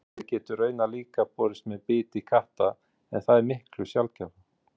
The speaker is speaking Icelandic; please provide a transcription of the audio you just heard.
Hundaæði getur raunar líka borist með biti katta en það er miklu sjaldgæfara.